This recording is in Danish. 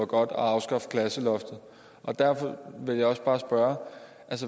godt at afskaffe klasseloftet derfor vil jeg bare spørge